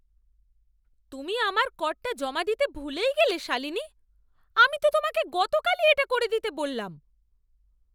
তুমি আমার করটা জমা দিতে ভুলেই গেলে, শালিনী? আমি তো তোমাকে গতকালই এটা করে দিতে বললাম!